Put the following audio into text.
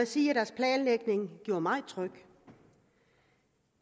sige at deres planlægning gjorde mig tryg